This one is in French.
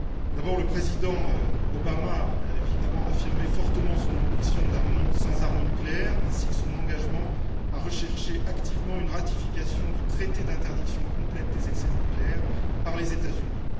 D'abord le président Obama a affirmé fortement son ambition d'un monde sans armes nucléaires ainsi que son engagement à rechercher activement une ratification du traité d'interdiction complète des essais nucléaires par les États Unis.